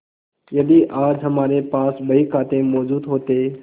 यदि आज हमारे पास बहीखाते मौजूद होते